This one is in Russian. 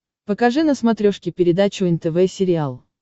покажи на смотрешке передачу нтв сериал